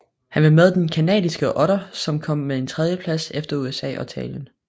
Han var med på den canadiske otter som kom på en tredjeplads efter USA og Italien